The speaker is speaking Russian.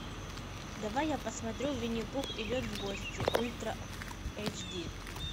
давай я посмотрю винни пух идет в гости ультра эйч ди